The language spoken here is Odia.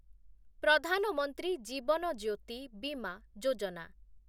ପ୍ରଧାନ ମନ୍ତ୍ରୀ ଜୀବନ ଜ୍ୟୋତି ବିମା ଯୋଜନା